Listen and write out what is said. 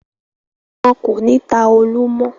Wọn kò ní ta “olú” mọ́.